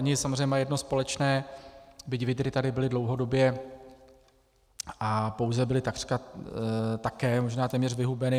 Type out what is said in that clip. Oni samozřejmě mají jedno společné, byť vydry tady byly dlouhodobě a pouze byly takřka také možná téměř vyhubeny.